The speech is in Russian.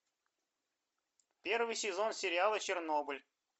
первый сезон сериала чернобыль